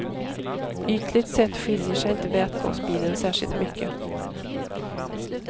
Ytligt sett skiljer sig inte vätgasbilen särskilt mycket.